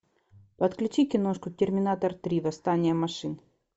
подключи киношку терминатор три восстание машин